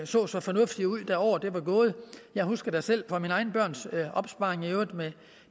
så så fornuftige ud året var gået jeg husker da selv fra mine egne børns opsparing